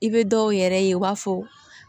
I bɛ dɔw yɛrɛ ye u b'a fɔ